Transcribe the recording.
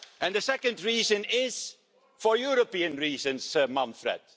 The second reason is for European reasons, Manfred.